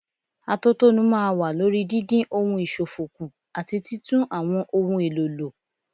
Atótónu máa wà lórí dídín ohun ìṣòfò kù àti títún àwọn ohun èlò lò.